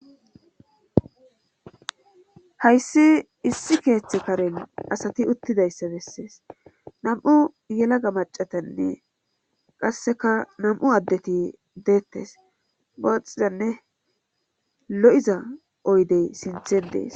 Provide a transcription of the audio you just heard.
hayssi issi keeththe karen asati uttidayssa bessees nam7u yelaga macatanne qasseka nam7u addeti deettes booxidanne lo7iza oydey sinthedees